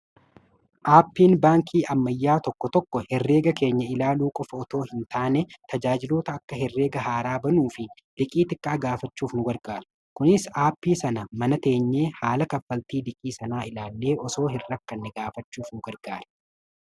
aappiin baankii ammayyaa tokko tokko herreega keenya ilaaluu qofa otoo hin taane tajaajiloota akka herreega haaraa banuu fi liqii xiqqa agaafachuuf nu wargaara kunis aappii sana mana teenyee haala kaffaltii dhiqii sanaa ilaallee osoo hirra kanne gaafachuuf n gargaare